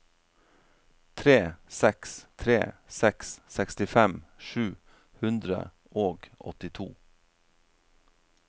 tre seks tre seks sekstifem sju hundre og åttito